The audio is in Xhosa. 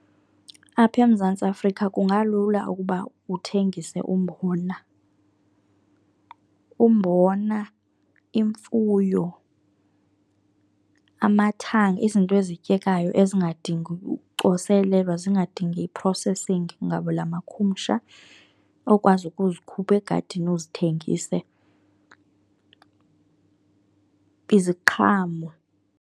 Apha eMzantsi Afrika kungalula ukuba uthengise umbona, umbona, imfuyo, amathanga. Izinto ezityekayo ezingadingi ucoselelwa, ezingadingi i-processing ngabula makhumsha, okwazi ukuzikhupha egadini uzithengise, iziqhamo.